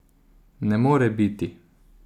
Ne more biti!